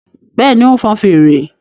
Bẹ́ẹ̀ni, ó ń fọn fèrè